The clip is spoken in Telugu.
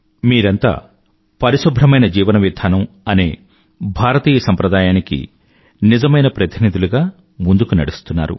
మీరంతా పరిశుభ్రమైన జీవనవిధానం అనే భారతీయ సంప్రదాయానికి నిజమైన ప్రతినిధులుగా ముందుకు నడుస్తున్నారు